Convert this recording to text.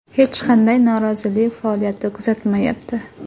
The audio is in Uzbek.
Hech qanday norozilik faoliyati kuzatilmayapti.